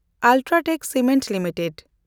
UltraTech Cement limited